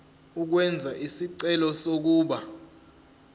ukwenza isicelo sokuba